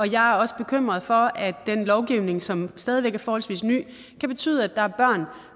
jeg er også bekymret for at den lovgivning som stadig væk er forholdsvis ny kan betyde at der er børn